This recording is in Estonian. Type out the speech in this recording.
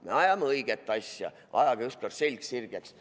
Me ajame õiget asja, ajage ükskord selg sirgeks.